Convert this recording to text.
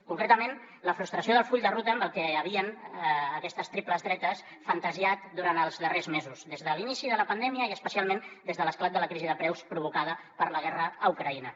concretament la frustració del full de ruta amb el que havien aquestes triples dretes fantasiejat durant els darrers mesos des de l’inici de la pandèmia i especialment des de l’esclat de la crisi de preus provocada per la guerra a ucraïna